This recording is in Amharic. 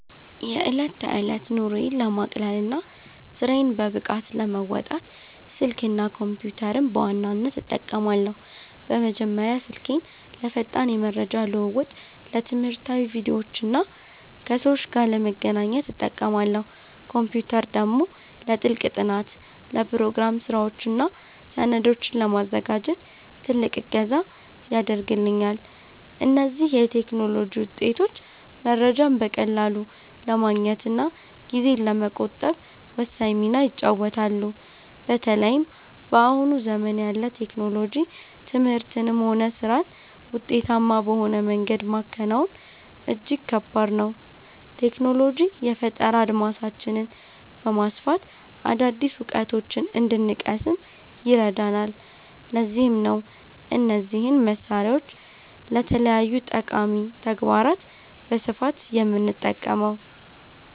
የዕለት ተዕለት ኑሮዬን ለማቅለልና ስራዬን በብቃት ለመወጣት፣ ስልክና ኮምፒተርን በዋናነት እጠቀማለሁ። በመጀመሪያ ስልኬን ለፈጣን የመረጃ ልውውጥ፣ ለትምህርታዊ ቪዲዮዎችና ከሰዎች ጋር ለመገናኛነት እጠቀማለሁ። ኮምፒተር ደግሞ ለጥልቅ ጥናት፣ ለፕሮግራም ስራዎችና ሰነዶችን ለማዘጋጀት ትልቅ እገዛ ያደርግልኛል። እነዚህ የቴክኖሎጂ ውጤቶች መረጃን በቀላሉ ለማግኘትና ጊዜን ለመቆጠብ ወሳኝ ሚና ይጫወታሉ። በተለይም በአሁኑ ዘመን ያለ ቴክኖሎጂ ትምህርትንም ሆነ ስራን ውጤታማ በሆነ መንገድ ማከናወን እጅግ ከባድ ነው። ቴክኖሎጂ የፈጠራ አድማሳችንን በማስፋት አዳዲስ እውቀቶችን እንድንቀስም ይረዳናል፤ ለዚህም ነው እነዚህን መሳሪያዎች ለተለያዩ ጠቃሚ ተግባራት በስፋት የምጠቀመው።